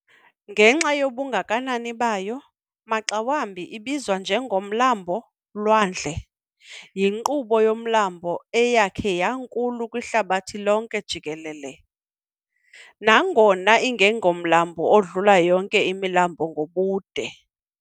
Ngenxa yobungakanani bayo, maxa wambi idbizwa njengo "Mlambo-lwandle". yinkqubo yomlambo eyakhe yankulu kwihlabathi lonke jikelele, nangona ingengomlambo udlula yonke imilambo ngobude.